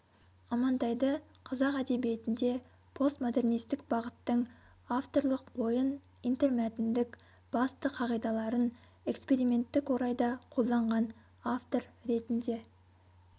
амантайды қазақ әдебиетінде постмодернистік бағыттың авторлық ойын интермәтіндік басты қағидаларын эксперименттік орайда қолданған автор ретінде